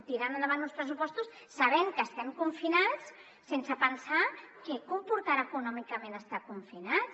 tiren endavant uns pressupostos sabent que estem confinats sense pensar què comportarà econòmicament estar confinats